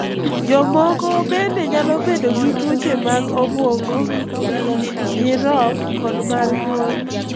Jomoko bende nyalo bedo gi tuoche mag obwongo, ich, nyirok, kod mar nyuol.